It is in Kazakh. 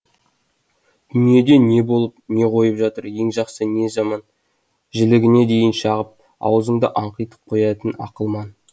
дүниеде не болып не қойып жатыр не жақсы не жаман жілігіне дейін шағып аузыңды аңқитып қоятын ақылман